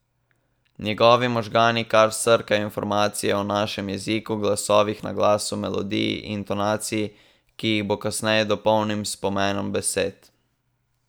Njegovi možgani kar srkajo informacije o našem jeziku, glasovih, naglasu, melodiji, intonaciji, ki jih bo kasneje dopolnil s pomenom besed.